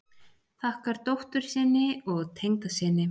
Þakkar dóttur sinni og tengdasyni